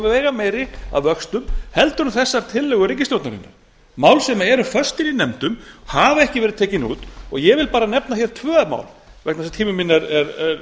veigameiri að vöxtum heldur en þessar tillögur ríkisstjórnarinnar mál sem eru föst í nefndum hafa ekki verið tekin út og ég vil bara nefna tvö mál vegna þess að tími minn er